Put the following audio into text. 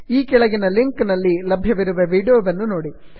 ಈ ಕೆಳಗಿನ ಲಿಂಕ್ ನಲ್ಲಿ ಲಭ್ಯವಿರುವ ವೀಡಿಯೋವನ್ನು ನೋಡಿ